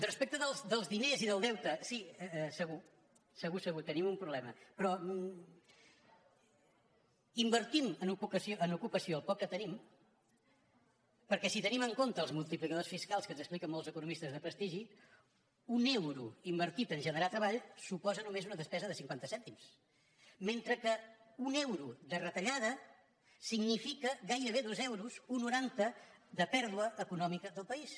respecte dels diners i del deute sí segur segur segur tenim un problema però invertim en ocupació el poc que tenim perquè si tenim en compte els multiplicadors fiscals que ens expliquen molts economistes de prestigi un euro invertit a generar treball suposa només una despesa de cinquanta cèntims mentre que un euro de retallada significa gairebé dos euros un coma noranta de pèrdua econòmica del país